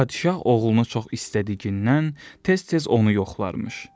Padşah oğlunu çox istədiyindən tez-tez onu yoxlarmış.